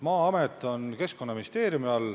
Maa-amet on Keskkonnaministeeriumi all.